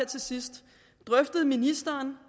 til sidst drøftede ministeren